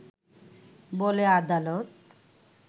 বলে আদালত